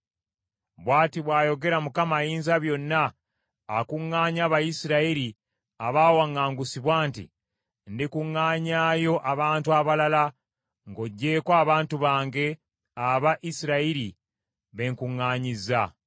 Bw’ati bw’ayogera Mukama Ayinzabyonna, akuŋŋaanya Abayisirayiri abaawaŋŋangusibwa nti, “Ndikuŋŋaanyaayo abantu abalala ng’oggyeko abantu bange aba Isirayiri be nkuŋŋaanyizza.”